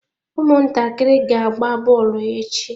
Ụmụntakịrị ga-agba bọọlụ echi.